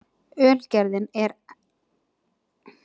Ölgerðin ekki með einkarétt á appelsíni